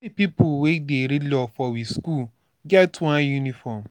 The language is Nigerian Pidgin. all di pipu wey dey read law for we skool get one uniform.